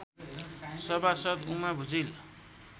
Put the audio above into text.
सभासद् उमा भुजेल